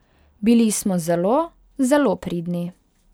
Bili smo zelo, zelo pridni.